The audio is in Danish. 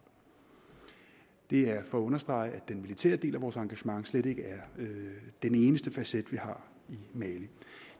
det er for at understrege at den militære del af vores engagement slet ikke er den eneste facet vi har i mali